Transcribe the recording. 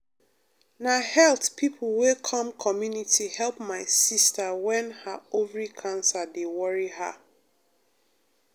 na health people wey come community help my sister wen ha ovary cancer dey worry her. um